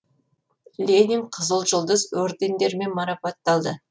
ленин қызыл жұлдыз ордендерімен марапатталды